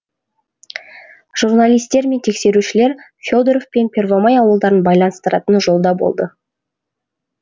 журналистер мен тексерушілер фе доров пен первомай ауылдарын байланыстыратын жолда болды